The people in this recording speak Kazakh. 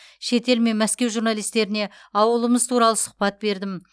шетел мен мәскеу журналистеріне ауылымыз туралы сұхбат бердім